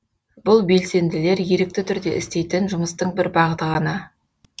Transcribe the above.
бұл белсенділер ерікті түрде істейтін жұмыстың бір бағыты ғана